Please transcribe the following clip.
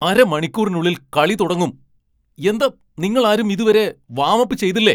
അരമണിക്കൂറിനുള്ളിൽ കളി തുടങ്ങും. എന്താ നിങ്ങളാരും ഇതുവരെ വാം അപ്പ് ചെയ്തില്ലേ ?